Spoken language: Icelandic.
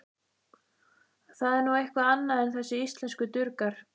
Það er nú eitthvað annað en þessir íslensku durgar.